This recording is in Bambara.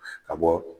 Ka bɔ